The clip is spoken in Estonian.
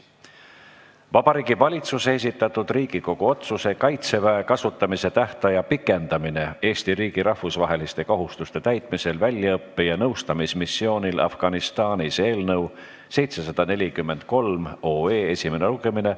Vabariigi Valitsuse esitatud Riigikogu otsuse "Kaitseväe kasutamise tähtaja pikendamine Eesti riigi rahvusvaheliste kohustuste täitmisel väljaõppe- ja nõustamismissioonil Afganistanis" eelnõu 743 esimene lugemine.